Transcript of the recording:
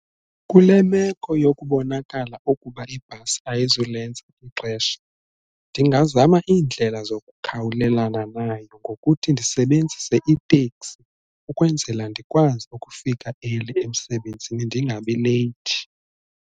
Kule meko yokubonakala ukuba ibhasi ayizulenza ixesha ndingazama iindlela zokukhawulelana nayo ngokuthi ndisebenzise iteksi ukwenzela ndikwazi ukufika eli emsebenzini ndingabi leyithi.